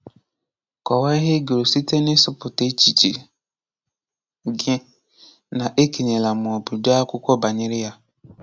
Kọwaa ihe ị gụrụ site na ịsụ̀pụta echiche gị na ékènyèlà ma ọ bụ dee akwụkwọ banyere ya.